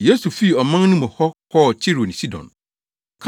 Yesu fii ɔman no mu hɔ kɔɔ Tiro ne Sidon.